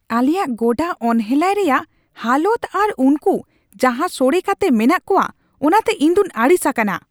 ᱟᱞᱮᱭᱟᱜ ᱜᱚᱰᱟ ᱚᱱᱦᱮᱞᱟ ᱨᱮᱭᱟᱜ ᱦᱟᱞᱚᱛ ᱟᱨ ᱩᱱᱠᱩ ᱡᱟᱦᱟᱸ ᱥᱚᱲᱮ ᱠᱟᱛᱮ ᱢᱮᱱᱟᱜ ᱠᱚᱣᱟ ᱚᱱᱟᱛᱮ ᱤᱧᱫᱩᱧ ᱟᱹᱲᱤᱥ ᱟᱠᱟᱱᱟ ᱾